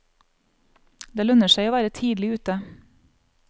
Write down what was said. Det lønner seg å være tidlig ute.